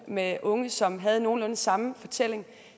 med unge som havde nogenlunde samme fortælling